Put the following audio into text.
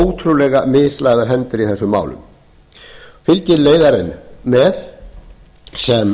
ótrúlega mislagðar hendur í þessum málum fylgir leiðarinn með sem